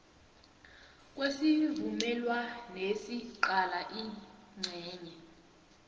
kwesivumelwanesi qala incenye